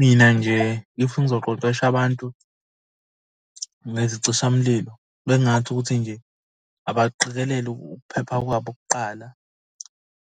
Mina nje if ngizoqeqesha abantu bezicisha mlilo, bengingathi ukuthi nje abaqikelele ukuphepha kwabo kuqala